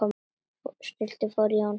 Stulli fór, Jón sat eftir.